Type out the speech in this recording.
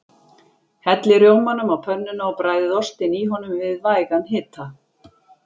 Hellið rjómanum á pönnuna og bræðið ostinn í honum við vægan hita.